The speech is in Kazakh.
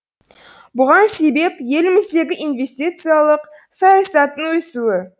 бұған себеп еліміздегі инвестициялық саясаттың өсуі